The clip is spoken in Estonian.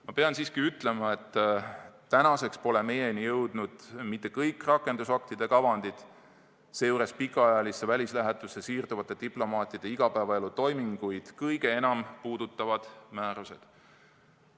Ma pean siiski ütlema, et tänaseks pole meieni jõudnud mitte kõik rakendusaktide kavandid, seejuures pikaajalisse välislähetusse siirduvate diplomaatide igapäevaelu toiminguid kõige enam puudutavad määrused.